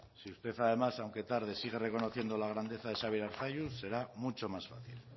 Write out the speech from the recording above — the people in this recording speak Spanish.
si usted además aunque tarde sigue reconociendo la grandeza de xabier arzalluz será mucho más fácil